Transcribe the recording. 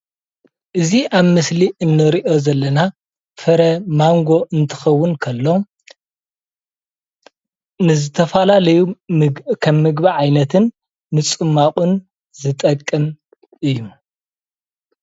እዚ ኣብ ምስሊ እንሪኦ ዘለና ፍረ ማንጎ እንትኸዉን ከሎ ንዝተፈላለዩ ከም ምግቢ ዓይነትን ንፅሟቅን ዝጠቅም እዩ።